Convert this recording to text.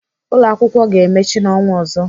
Ụlọakwụkwọ ga-emechi n'ọnwa ọzọ.